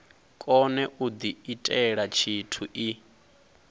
kone u diitela tshithu i